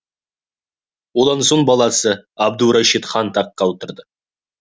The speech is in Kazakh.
одан соң баласы абдурашид хан таққа отырды